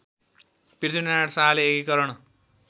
पृथ्वीनारायण शाहले एकीकरण